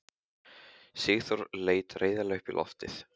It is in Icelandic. Sigþóra leit reiðilega upp á loftið.